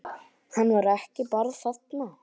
Hann var ekki bara þarna.